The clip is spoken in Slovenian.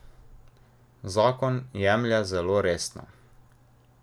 Zakon jemlje zelo resno.